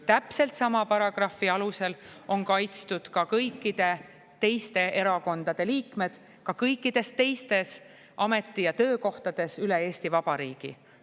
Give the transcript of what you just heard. Täpselt sama paragrahvi alusel on kaitstud ka kõikide teiste erakondade liikmed kõikidel teistel ameti- ja töökohtadel üle Eesti Vabariigi.